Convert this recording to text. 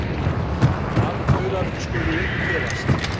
Landaurar skulu upp gefast.